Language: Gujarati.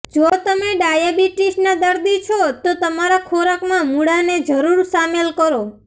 જો તમે ડાયાબિટીસ ના દર્દી છો તો તમારા ખોરાક માં મૂળા ને જરૂર શામેલ કરો